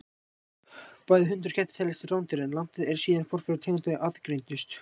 Bæði hundar og kettir teljast til rándýra, en langt er síðan forfeður tegundanna aðgreindust.